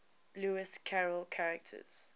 lewis carroll characters